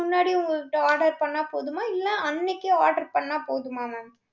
முன்னாடி, உங்கள்ட்ட order பண்ணா போதுமா இல்லை, அன்னைக்கே order பண்ணா போதுமா mam